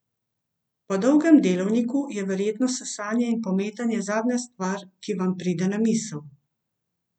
Po dolgem delovniku je verjetno sesanje in pometanje zadnja stvar, ki vam pride na misel.